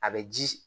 A bɛ ji